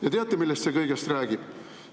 Ja teate, millest kõigest see räägib?